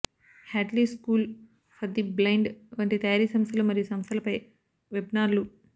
Hadley school for the blind వంటి తయారీ సంస్థలు మరియు సంస్థలపై వెబ్నార్లు